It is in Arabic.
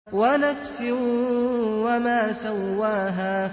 وَنَفْسٍ وَمَا سَوَّاهَا